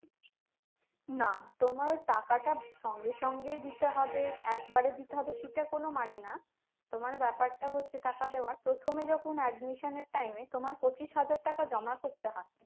না তোমার টাকাটা সঙ্গে সঙ্গে দিতে হবে একবারে দিতে হবে সেটা কোন মানে না তোমার ব্যাপারটা হচ্ছে টাকা দেওয়ার প্রথমে যখন admission এর time এ তোমার পঁচিশ হাজার টাকা জমা করতে হয়